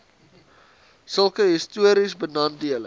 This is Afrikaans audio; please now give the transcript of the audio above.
sulke histories benadeelde